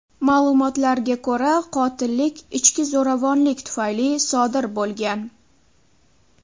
Ma’lumotlarga ko‘ra, qotillik ichki zo‘ravonlik tufayli sodir bo‘lgan.